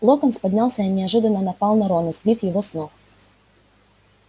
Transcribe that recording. локонс поднялся и неожиданно напал на рона сбив его с ног